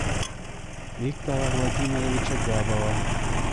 виктора владимировича габова